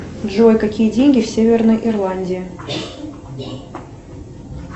джой какие деньги в северной ирландии